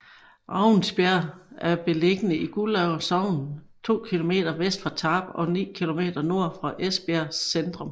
Ravnsbjerg er beliggende i Guldager Sogn to kilometer vest for Tarp og ni kilometer nord for Esbjerg centrum